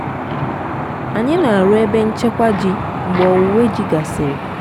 anyị na-arụ ebe nchekwa ji mgbe owuwe ji gasịrị.